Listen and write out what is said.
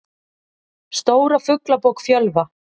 Stóra Fuglabók Fjölva.